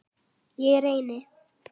Ég reyni.